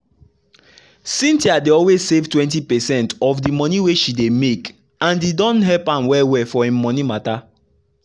cynthia dey always save 20 percent of de monie wey she dey make and e don help am well well for im monie matter.